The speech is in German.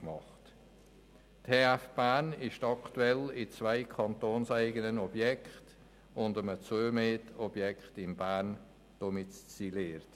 Die TF Bern ist aktuell in zwei kantonseigenen Objekten und einem zugemieteten Objekt in Bern domiziliert.